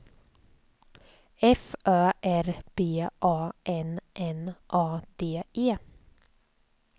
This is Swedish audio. F Ö R B A N N A D E